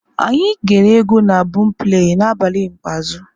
Anyị ghere egwu na bọọmpleị n'abalị ikpeazụ.